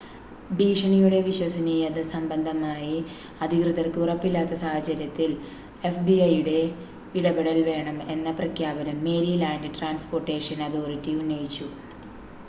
ഭീഷണിയുടെ വിശ്വസനീയത സംബന്ധമായി അധികൃതർക്ക് ഉറപ്പില്ലാത്ത സാഹചര്യത്തിൽ fbi യുടെ ഇടപെടൽ വേണം എന്ന പ്രഖ്യാപനം മേരിലാൻഡ് ട്രാൻസ്പോർട്ടേഷൻ അതോറിറ്റി ഉന്നയിച്ചു